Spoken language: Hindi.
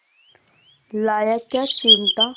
लाया क्या चिमटा